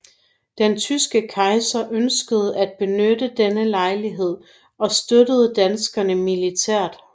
Den tyske kejser ønskede at benytte denne lejlighed og støtte danskerne militært